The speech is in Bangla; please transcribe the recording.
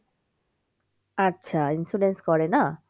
আচ্ছা insurance করে না